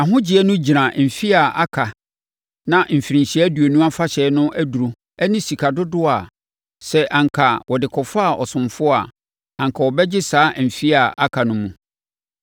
Nʼahogyeɛ no gyina mfeɛ a aka na Mfirinhyia Aduonum Afahyɛ no aduro ne sika dodoɔ a sɛ anka wɔde kɔfaa ɔsomfoɔ a, anka ɔbɛgye saa mfeɛ a aka no mu.